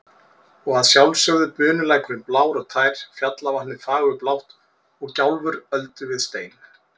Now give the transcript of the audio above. Og að sjálfsögðu bunulækurinn blár og tær, fjallavatnið fagurblátt og gjálfur öldu við stein.